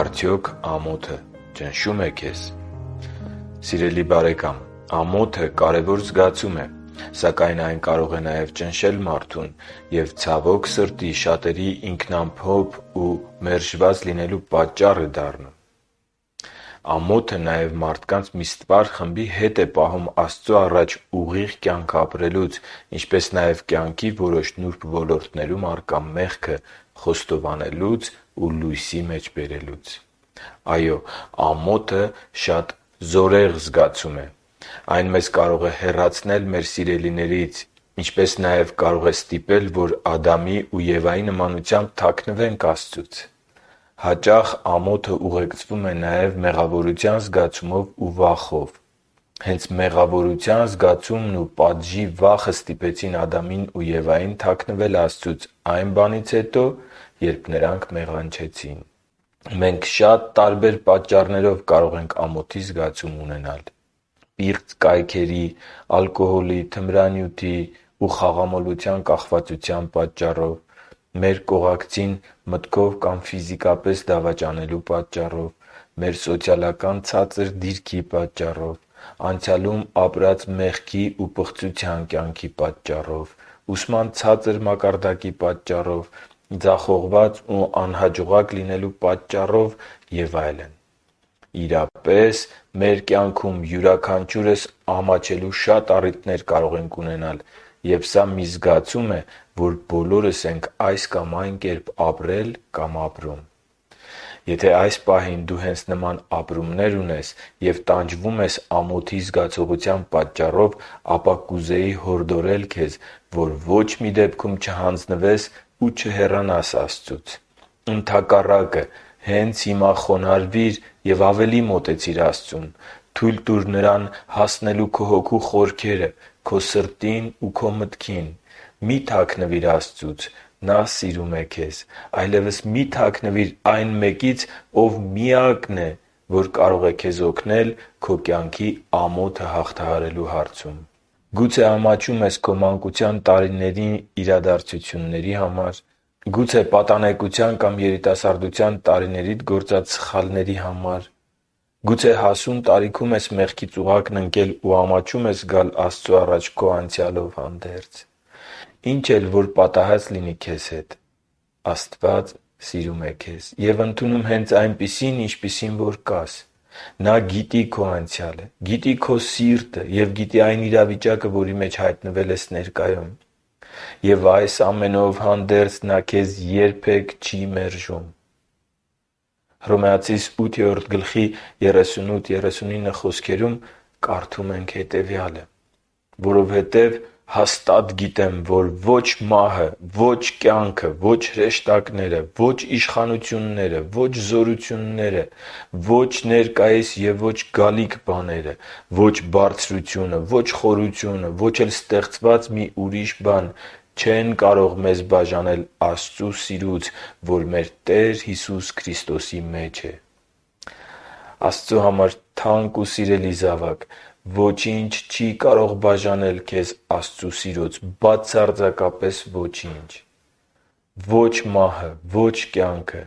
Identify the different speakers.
Speaker 1: Արդյոք ամոթը ճնշո՞ւմ է քեզ Սիրելի՛ բարեկամ, ամոթը կարևոր զգացում է, սակայն, այն կարող է նաև ճնշել մարդուն և, ցավոք սրտի, շատերի ինքնամփոփ ու մերժված լինելու պատճառ է դառնում։ Ամոթը նաև մարդկանց մի ստվար խմբի հետ է պահում Աստծո առաջ ուղիղ կյանք ապրելուց, ինչպես նաև կյանքի որոշ նուրբ ոլորտներում առկա մեղքը խոստովանելուց ու լույսի մեջ բերելուց։ Այո՛, ամոթը շատ զորեղ զգացում է։ Այն մեզ կարող է հեռացնել մեր սիրելիներից, ինչպես նաև կարող է ստիպել, որ Ադամի ու Եվայի նմանությամբ թաքնվենք Աստծուց։ Հաճախ ամոթը ուղեկցվում է նաև մեղավորության զգացումով ու վախով։ Հենց մեղավորության զգացումն ու պատժի վախը ստիպեցին Ադամին ու Եվային թաքնվել Աստծուց այն բանից հետո, երբ նրանք մեղանչեցին։ Մենք շատ տարբեր պատճառներով կարող ենք ամոթի զգացում ունենալ. Պիղծ կայքերի, ալկոհոլի, թմրանյութի ու խաղամոլության կախվածության պատճառով։ Մեր կողակցին մտքով կամ ֆիզիկապես դավաճանելու պատճառով։ Մեր սոցիալական ցածր դիրքի պատճառով։ Անցյալում ապրած մեղքի ու պղծության կյանքի պատճառով։ Ուսման ցածր մակարդակի պատճառով։ Ձախողված ու անհաջողակ լինելու պատճառով։ Եվ այլն։ Իրապես, մեր կյանքում յուրաքանչյուրս ամաչելու շատ առիթներ կարող ենք ունենալ։ Եվ սա մի զգացում է, որ բոլորս ենք այս կամ այն կերպ ապրել կամ ապրում։ Եթե այս պահին դու հենց նման ապրումներ ունես և տանջվում ես ամոթի զգացողության պատճառով, ապա կուզեի հորդորել քեզ, որ ոչ մի դեպքում չհանձնվես ու չհեռանաս Աստծուց։ Ընդհակառակը, հենց հիմա խոնարհվիր ու ավելի մոտեցիր Աստծուն։ Թույլ տուր Նրան հասնելու քո հոգու խորքերը՝ քո սրտին ու քո մտքին։ Մի՛ թաքնվիր Աստծուց։ Նա սիրում է քեզ։ Այլևս մի՛ թաքնվիր այն Մեկից, Ով միակն է, որ կարող է քեզ օգնել քո կյանքի ամոթը հաղթահարելու հարցում։ Աստված գիտի ամենը, ինչ պատահել է քեզ հետ։ Գուցե ամաչում ես քո մանկության տարիների համար, գուցե պատանեկության կամ երիտասարդության տարիներիդ սխալների համար։ Գուցե հասուն տարիքում ես մեղքի ծուղակն ընկել ու ամաչում ես գալ Աստծո առաջ քո անցյալով։ Ինչ էլ որ պատահած լինի քեզ հետ…, Աստված սիրում է քեզ և ընդունում հենց այնպիսին, ինչպիսին որ կաս։ Նա գիտի քո անցյալը, գիտի քո սիրտը և գիտի այն իրավիճակը, որի մեջ հայտնվել ես ներկայում։ Եվ, այս ամենով հանդերձ, Նա քեզ երբե՛ք չի մերժում։ Հռոմեացիս 8.38-39 հատվածում կարդում ենք. «Որովհետև հաստատ գիտեմ, որ ո՛չ մահը, ո՛չ կյանքը, ո՛չ հրեշտակները, ո՛չ իշխանությունները, ո՛չ զորությունները, ո՛չ ներկայիս և ո՛չ գալիք բաները, ո՛չ բարձրությունը, ո՛չ խորությունը, ո՛չ էլ ստեղծված մի ուրիշ բան չեն կարող մեզ բաժանել Աստծու սիրուց, որ մեր Տեր Հիսուս Քրիստոսի մեջ է»։ Աստծո համար թանկ ու սիրելի՛ զավակ, ոչինչ չի կարող բաժանել քեզ Աստծո սիրուց։ ԲԱՑԱՐՁԱԿԱՊԵՍ ՈՉԻՆՉ։ Ո՛չ մահը, ո՛չ կյանքը,